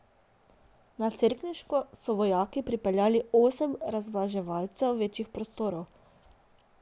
Na Cerkniško so vojaki pripeljali osem razvlaževalcev večjih prostorov.